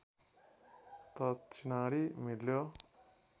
त चिनारी मिल्यो